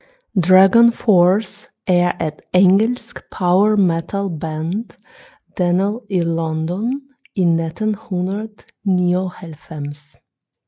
DragonForce er et engelsk power metal band dannet i London i 1999